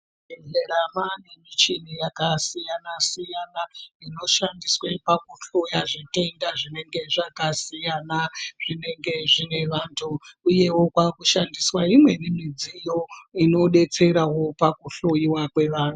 Muzvibhedhlera maanemichini yakasiyana siyana inoshandiswe pakuhloya zvitenda zvinenge zvakasiyana zvinenge zvine vantu, uyewo kwakushandiswa imweni midziyo inodetseravo pakuhloyiwa kwevantu.